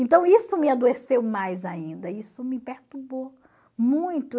Então isso me adoeceu mais ainda, isso me perturbou muito.